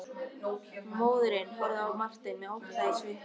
Móðirin horfði á Martein með ótta í svipnum.